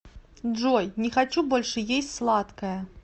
джой не хочу больше есть сладкое